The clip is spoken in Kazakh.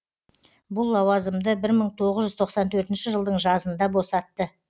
бұл лауазымды бір мың тоғыз жүз тоқсан төртінші жылдың жазында босатты